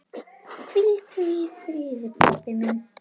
Hvíldu í friði, pabbi minn.